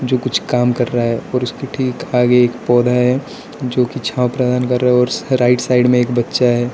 जो कुछ काम कर रहा है और उसके ठीक आगे एक पौधा है जो की छाँव प्रदान कर रहा है और राइट साइड में एक बच्चा है।